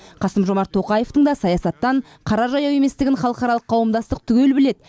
қасым жомарт тоқаевтың да саясаттан қара жаяу еместігін халықаралық қауымдастық түгел біледі